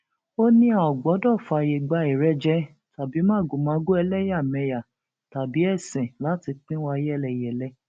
ó ní a ò gbọdọ fààyè gba ìrẹjẹ tàbí màgòmágó ẹlẹyàmẹyà tàbí ẹsìn láti pín wa yẹlẹyẹlẹ